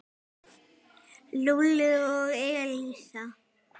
Lúlli og Elísa.